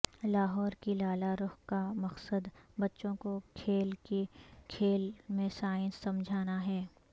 لاہور کی لالہ رخ کا مقصد بچوں کو کھیل ہی کھیل میں سائنس سمجھانا ہے